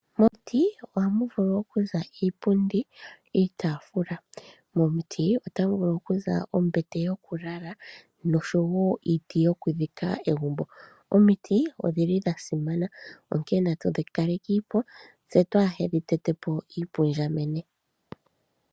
Momuti oha mu vulu oku za iipundi niitafula. Momuti ota mu vulu oku za ombete yokulala nosho wo iiti yokudhika egumbo. Omiti odhili dha simana onkene na tu dhi kalekiipo tse twaa hedhi tete po iipundjamenye.